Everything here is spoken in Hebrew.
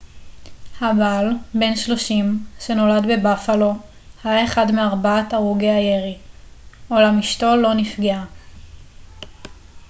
הבעל בן 30 שנולד בבאפלו היה אחד מארבעת הרוגי הירי אולם אשתו לא נפגעה